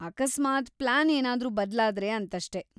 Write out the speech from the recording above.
ಅಕಸ್ಮಾತ್‌ ಪ್ಲಾನ್‌ ಏನಾದ್ರೂ ಬದ್ಲಾದ್ರೆ ಅಂತಷ್ಟೇ.